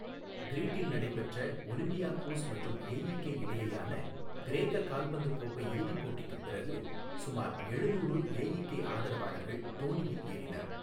கிரீட்டில் நடைபெற்ற ஒலிம்பியாகோஸ் மற்றும் ஏஈகே இடையேயான கிரேக்க கால்பந்து கோப்பை இறுதிப் போட்டிக்குப் பிறகு சுமார் எழுநூறு ஏஈகே ஆதரவாளர்கள் தோணியில் ஏறினர்.